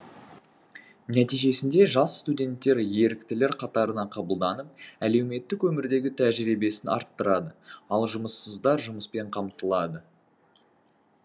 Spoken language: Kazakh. нәтижесінде жас студенттер еріктілер қатарына қабылданып әлеуметтік өмірдегі тәжірибесін арттырады ал жұмыссыздар жұмыспен қамтылады